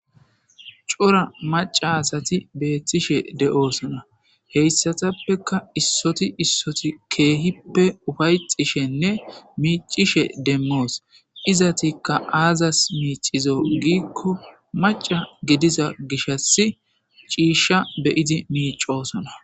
Cora maca asati betishe de'osona heysatappeka issoti issoti micishe demosi, izetika aazas miicizo giiko maca gidiza gishas ciisha be'id micosona